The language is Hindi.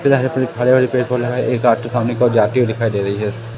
खड़े होने पे इनको लगा एक आपके सामने की ओर जाते हुए दिखाई दे रही है।